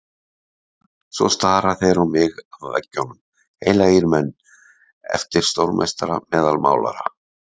Svo stara þeir á mig af veggjunum, heilagir menn, eftir stórmeistara meðal málara.